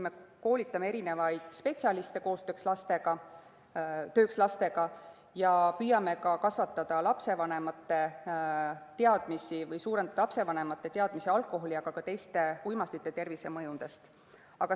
Me koolitame spetsialiste tööks lastega ja püüame kasvatada ka lastevanemate teadmisi alkoholi, aga ka teiste uimastite tervisemõjudest.